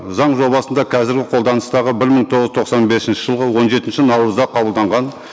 заң жобасында қазіргі қолданыстағы бір мың тоғыз жүз тоқсан бесінші жылғы он жетінші наурызда қабылданған